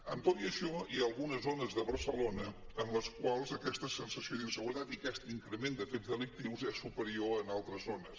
amb tot i això hi ha algunes zones de barcelona en les quals aquesta sensació d’inseguretat i aquest increment de fets delictius és superior que en altres zones